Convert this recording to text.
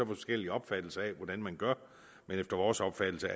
forskellig opfattelse af hvordan man gør efter vores opfattelse